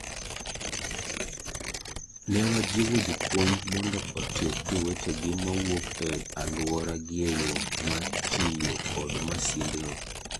Newajiwo jopuonj mondo otieg jowetegi mawuok e aluoragieyoo mar tiyoo kod masind no,